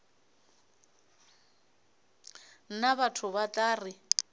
nna batho ba tla re